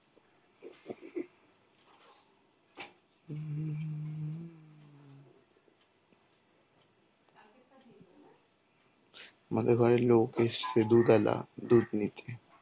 আমাদের ঘরে লোক এসছে দুধওলা, দুধ নিতে.